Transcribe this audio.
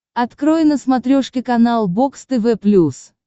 открой на смотрешке канал бокс тв плюс